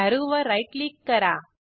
अॅरोवर right click करा